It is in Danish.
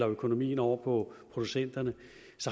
økonomien over på producenterne